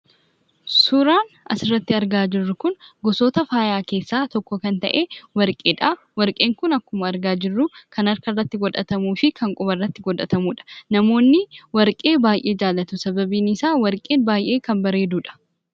Suuraan asirratti argaa jirru kun gosoota faayaa keessaa tokko kan ta'e warqeedha. Warqeen kun akkuma asirratti argaa jirru kan harkatti godhatamuufi kan quba irratti godhatamudha. Namoonni warqee baay'ee jaallatu; sababni isaa warqeen baay'ee kan bareedudha.